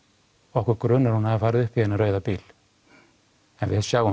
okkur grunar að hún hafi farið upp í þennan rauða bíl en við sjáum